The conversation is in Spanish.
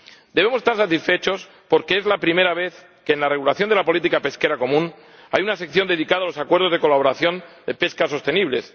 Debemos estar satisfechos porque es la primera vez que en la regulación de la política pesquera común hay una sección dedicada a los acuerdos de colaboración de pesca sostenibles.